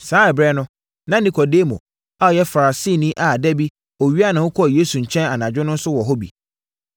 Saa ɛberɛ no, na Nikodemo a ɔyɛ Farisini a da bi ɔwiaa ne ho kɔɔ Yesu nkyɛn anadwo no nso wɔ hɔ bi.